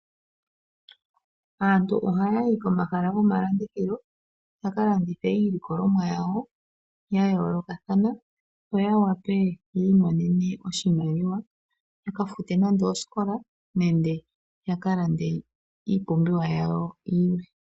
Aantu ohayayi komahala gomalandithilo yakalandithe iilikolomwa yawo yayoolokathana yo yawape yiimonene mo oshimaliwa yakafute nande osikola nenge yakalande iipumbiwa yawo yilwe.